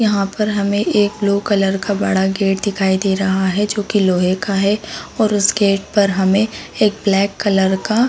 यहाँ पर हमे एक ब्लू कलर का बड़ा गेट दिखाई दे रहा है जो क़ी लोहे का है। उस गेट पर हमे ब्लैक कलर का--